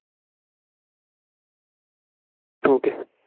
ठीक आहे.